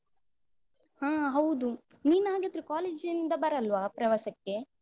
ಹಾ ಹೌದು. ನೀನ್ ಹಾಗಾದ್ರೆ college ಇಂದ ಬರಲ್ವಾ ಪ್ರವಾಸಕ್ಕೆ?